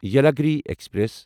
Yelagiri express